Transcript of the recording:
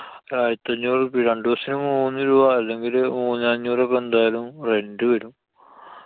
ആയിരത്തി അഞ്ഞൂറു ഉറുപ്പിയ. രണ്ടൂസത്തിനു മൂന്നു രൂപ അല്ലെങ്കില് മൂന്ന് അഞ്ഞൂറൊക്കെ എന്തായാലും rent വരും.